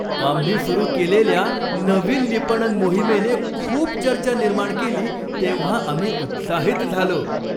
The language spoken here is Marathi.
आम्ही सुरू केलेल्या नवीन विपणन मोहिमेने खूप चर्चा निर्माण केली तेव्हा आम्ही उत्साहित झालो.